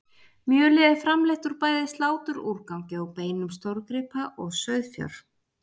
Mjölið er framleitt úr bæði sláturúrgangi og beinum stórgripa og sauðfjár.